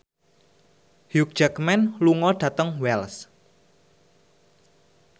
Hugh Jackman lunga dhateng Wells